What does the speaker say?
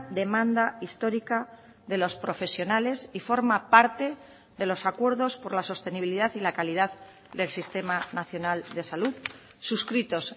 demanda histórica de los profesionales y forma parte de los acuerdos por la sostenibilidad y la calidad del sistema nacional de salud suscritos